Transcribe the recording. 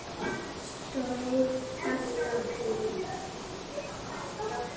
Stóð fast á því.